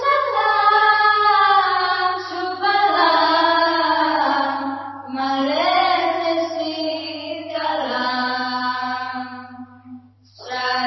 सुजलां सुफलां मलयजशीतलाम्